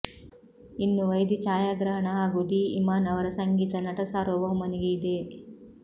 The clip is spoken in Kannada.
ಇನ್ನು ವೈದಿ ಛಾಯಾಗ್ರಹಣ ಹಾಗೂ ಡಿ ಇಮಾನ್ ಅವರ ಸಂಗೀತ ನಟಸಾರ್ವಭೌಮನಿಗೆ ಇದೆ